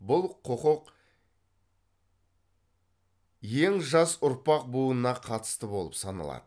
бұл құқық ең жас ұрпақ буынына қатысты болып саналады